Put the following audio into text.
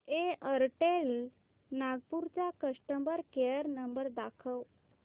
Airtel Nagpur चा customer care number दाखव